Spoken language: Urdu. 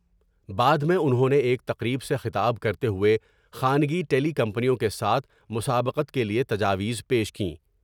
بعد میں انہوں نے ایک تقریب سے خطاب کرتے ہوۓ خانگی ٹیلی کمپنیوں کے ساتھ مسابقت کے لیے تجاویز پیش کیں ۔